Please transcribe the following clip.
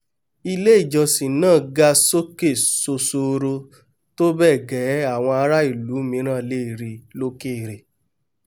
ilé-ìjọsìn náà ga sókè sosoro tóbẹ́ẹ̀gẹ́ àwọn ará ìlú míràn lè ríi lókèrè